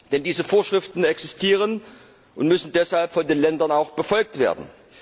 Denn diese Vorschriften existieren und müssen deshalb von den Ländern auch befolgt werden.